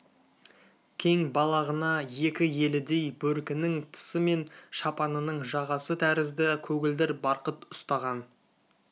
кең балағына екі елідей бөркінің тысы мен шапанының жағасы тәрізді көгілдір барқыт ұстаған